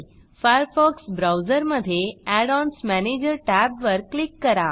Firefox ब्राऊजरमधे add ons manager tab वर click करा